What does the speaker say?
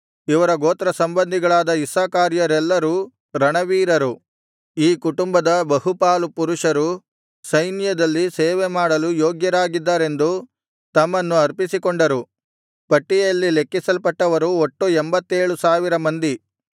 ಇವರ ಗೋತ್ರ ಸಂಬಂಧಿಗಳಾದ ಇಸ್ಸಾಕಾರ್ಯರೆಲ್ಲರೂ ರಣವೀರರು ಈ ಕುಟುಂಬದ ಬಹುಪಾಲು ಪುರುಷರು ಸೈನ್ಯದಲ್ಲಿ ಸೇವೆಮಾಡಲು ಯೋಗ್ಯರಾಗಿದ್ದರೆಂದು ತಮ್ಮನ್ನು ಅರ್ಪಿಸಿಕೊಂಡರು ಪಟ್ಟಿಯಲ್ಲಿ ಲೆಕ್ಕಿಸಲ್ಪಟ್ಟವರು ಒಟ್ಟು ಎಂಭತ್ತೇಳು ಸಾವಿರ ಮಂದಿ